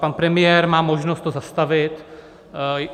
Pan premiér má možnost to zastavit.